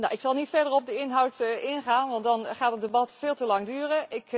Ik zal niet verder op de inhoud ingaan, want dan gaat het debat veel te lang duren.